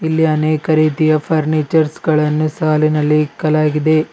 ಇಲ್ಲಿ ಅನೇಕ ರೀತಿಯ ಫರ್ನಿಚರ್ಸ್ ಗಳನ್ನು ಸಾಲಿನಲ್ಲಿ ಇಕ್ಕಲಾಗಿದೆ.